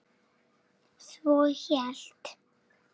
Svo hélt